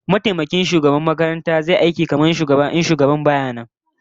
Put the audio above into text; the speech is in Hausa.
Mataimakin shugaban makaranta zai yi aiki kamar shugaban idan shugaban baya nan